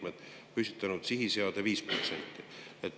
Seda on möönnud ka teised valitsuse liikmed.